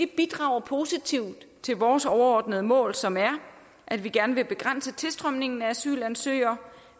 bidrager positivt til vores overordnede mål som er at vi gerne vil begrænse tilstrømningen af asylansøgere